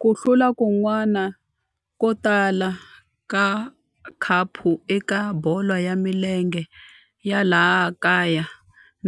Ku hlula kun'wana ko tala ka khapu eka bolo ya milenge ya laha kaya